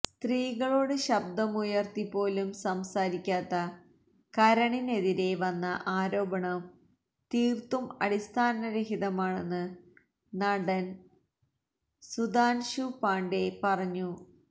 സ്ത്രീകളോട് ശബ്ദമുയര്ത്തിപ്പോലും സംസാരിക്കാത്ത കരണിനെതിരെ വന്ന ആരോപണം തീര്ത്തും അടിസ്ഥാനരഹിതമാണെന്ന് നടന് സുധാന്ശൂ പാണ്ഡേ പറഞ്ഞു